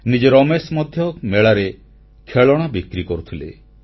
ନିଜେ ରମେଶ ମଧ୍ୟ ମେଳାରେ ଖେଳଣା ବିକ୍ରି କରୁଥିଲେ